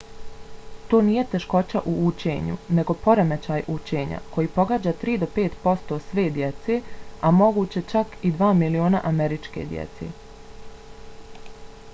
to nije teškoća u učenju nego poremećaj učenja. koji pogađa 3 do 5 posto sve djece a moguće čak i 2 miliona američke djece.